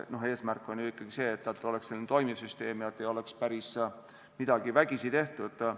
Eesmärk on ju ikkagi see, et oleks toimiv süsteem ja et ei oleks midagi päris vägisi tehtud.